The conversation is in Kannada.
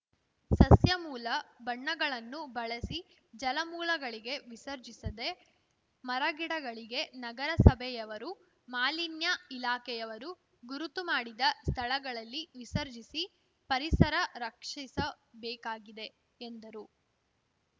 ಸಸ್ಯ ಮೂಲ ಬಣ್ಣಗಳನ್ನು ಬಳಸಿ ಜಲಮೂಲಗಳಿಗೆ ವಿಸರ್ಜಿಸದೆ ಮರಗಿಡಗಳಿಗೆ ನಗರಸಭೆಯವರು ಮಾಲಿನ್ಯ ಇಲಾಖೆಯವರು ಗುರುತು ಮಾಡಿದ ಸ್ಥಳಗಳಲ್ಲಿ ವಿಸರ್ಜಿಸಿ ಪರಿಸರ ರಕ್ಷಿಸಬೇಕಾಗಿದೆ ಎಂದರು